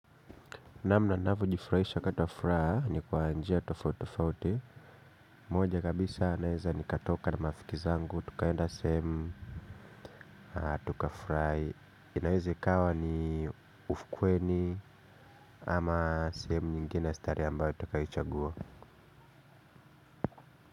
Namna navyojifurahisha wakati wa furaha ni kwa njia tofauti tofauti. Moja kabisa naeza nikatoka na marafiki zangu, tukaenda sehemu, tukafurahi. Inaeza ikawa ni ufukweni ama sehemu nyingine ya starehe ambayo tukaichagua.